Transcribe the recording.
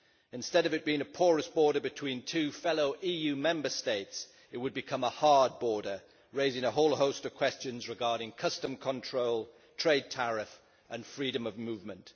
Instead of it being a porous border between two fellow EU Member States, it would become a hard border, raising a whole host of questions regarding customs control, trade tariff and freedom of movement.